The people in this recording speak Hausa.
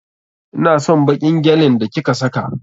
Ina son baƙin gyalin da ki ka saka.